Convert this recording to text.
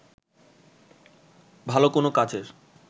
ভাল কোন কাজের